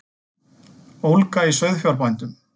Ólga í sauðfjárbændum